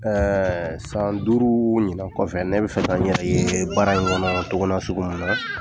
san duuru ɲinan kɔfɛ ne bɛ fɛ ka n yɛrɛ ye baara in kɔnɔ togo nasugu min na.